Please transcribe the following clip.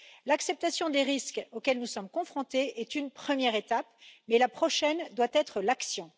L'acceptation des risques auxquels nous sommes confrontés est une première étape, mais la prochaine doit être l'action.